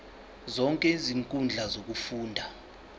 zonke izinkundla zokufunda